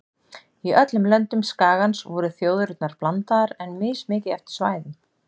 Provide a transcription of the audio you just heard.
Í öllum löndum skagans voru þjóðirnar blandaðar en mismikið eftir svæðum.